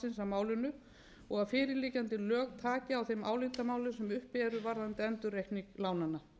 málinu og að fyrirliggjandi lög taki á þeim álitamálum sem uppi eru varðandi endurreikning lánanna